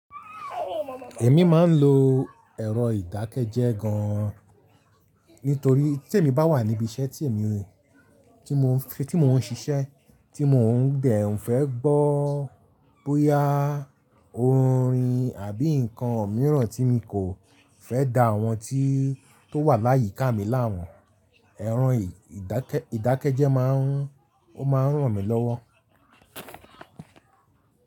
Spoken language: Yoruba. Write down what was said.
Èmi máa ń lo ẹ̀rọ ìdákẹ́jẹ́ gan, nítorí tí èmi bá wà níbi iṣẹ́ tí èmi ń, tí mo ń ṣe, tí mo ń gbẹ̀ ń fẹ́ gbọ́ bóyá orin àbí ǹkan mìíràn tí mo kò fẹ́ da àwọn tí tó wà láyìí ká mi lámu, ẹ̀rọ ìdákẹ́jẹ́ máa ń, ó máa ń ràn mí lọ́wọ́.